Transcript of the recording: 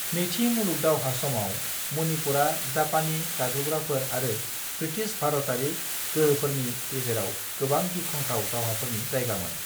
नैथि मुलुग दावहा समाव, मणिपुरा जापानी गाग्लोबग्राफोर आरो ब्रिटिश भारतारि गोहोफोरनि गेजेराव गोबां गिख्रंथाव दावहाफोरनि जायगामोन।